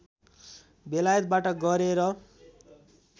बेलायतबाट गरे र